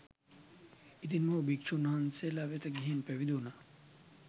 ඉතින් මොහු භික්ෂූන් වහන්සේලා වෙත ගිහින් පැවිදි වුනා.